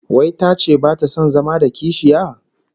Wai tace bata son zama da kishiya?